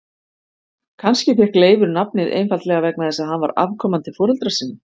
Kannski fékk Leifur nafnið einfaldlega vegna þess að hann var afkomandi foreldra sinna.